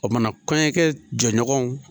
O kumana kɔɲɔkɛ jɛɲɔgɔnw.